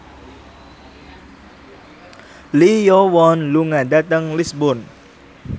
Lee Yo Won lunga dhateng Lisburn